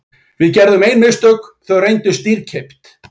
Við gerðum ein mistök og þau reyndust dýrkeypt.